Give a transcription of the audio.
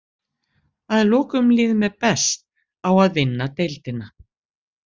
Að lokum líður mér best á að vinna deildina.